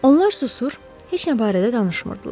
Onlar susur, heç nə barədə danışmırdılar.